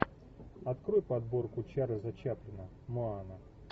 открой подборку чарльза чаплина моана